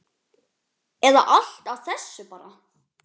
Eða allt af þessu bara?